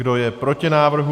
Kdo je proti návrhu?